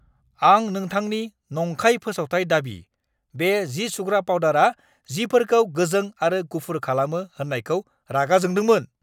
आं नोंथांनि नंखाय फोसावथाय दाबि, बे जि-सुग्रा पाउदारआ जिफोरखौ गोजों आरो गुफुर खालामो होननायखौ रागा जोंदोंमोन!